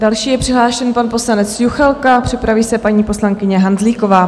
Další je přihlášen pan poslanec Juchelka, připraví se paní poslankyně Hanzlíková.